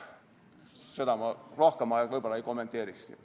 Seda ma rohkem ei kommenteerikski.